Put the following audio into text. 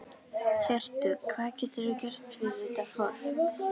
Hjörtur: Hvað getur þú gert fyrir þetta fólk?